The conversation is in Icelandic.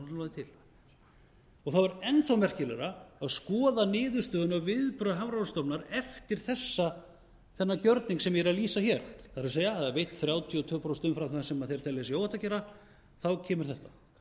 til það var enn þá merkilegra að skoða niðurstöðuna og viðbrögð hafrannsóknastofnunar eftir þennan gjörning sem ég er að lýsa hér það er að hafa veitt þrjátíu og tvö prósent umfram það sem þeir telja að sé óhætt að gera að þá kemur þetta